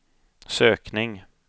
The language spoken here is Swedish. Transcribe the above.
sökning